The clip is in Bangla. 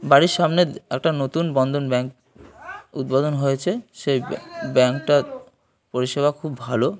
বাড়ির সামনে একটা নতুন বন্ধন ব্যাঙ্ক উদ্বোধন হয়েছে। সেই ব্যা ব্যাঙ্ক -টার পরিষেবা খুব ভালো ।